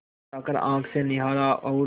उठाकर आँख से निहारा और